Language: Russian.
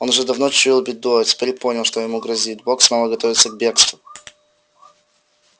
он уже давно чуял беду а теперь понял что ему грозит бог снова готовится к бегству